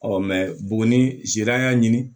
buguni zan y'a ɲini